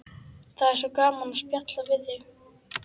Það er svo gaman að spjalla við þig.